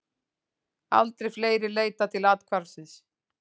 Aldrei fleiri leitað til athvarfsins